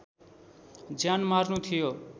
ज्यान मार्नु थियो